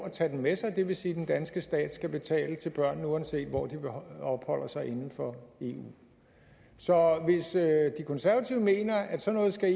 at tage den med sig og det vil sige at den danske stat skal betale til børnene uanset hvor de opholder sig inden for eu så hvis de konservative mener at